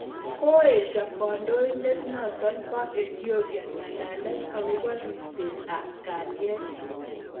Koesho kandoindet notok pa Ethiopia ngalalet akopo ripset ap kaliet